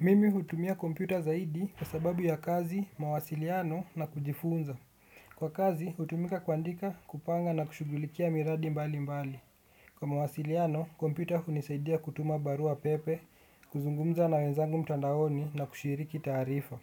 Mimi hutumia kompyuta zaidi kwa sababu ya kazi, mawasiliano na kujifunza. Kwa kazi, hutumika kuandika kupanga na kushugulikia miradi mbali mbali. Kwa mawasiliano, kompyuta hunisaidia kutuma barua pepe, kuzungumza na wenzangu mtandaoni na kushiriki taarifa.